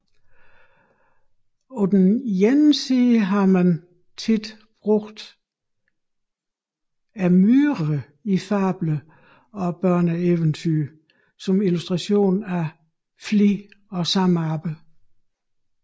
På den ene side har man ofte brugt myrerne i fabler og børneeventyr som illustration af flid og samarbejde